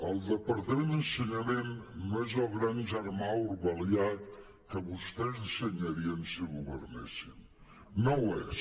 el departament d’ensenyament no és el gran germà orwellià que vostès dissenyarien si governessin no ho és